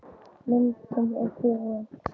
Myndin er búin.